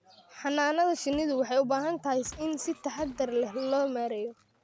Xannaanada shinnidu waxay u baahan tahay in si taxadar leh loo maareeyo.